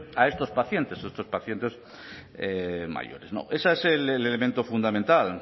a estos pacientes estos pacientes mayores ese es el elemento fundamental